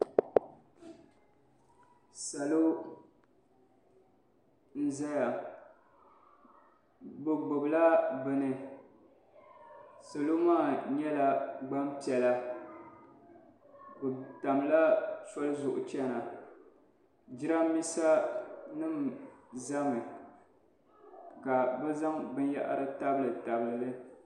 Salo n zaya bi gbubi la bini salo maa yɛla gban piɛlla bi tam la soli zuɣu chiɛna jiranbesa nim za mi ka bi zaŋ bini yahiri tabili tabili li